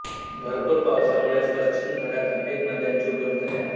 भरपूर पावसामुळेच पश्चिम घाटात अनेक नद्यांची उगमस्थाने आहेत